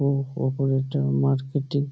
উঁ ওপরের টা মার্কেটি --